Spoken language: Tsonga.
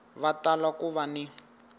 va tala ku va ni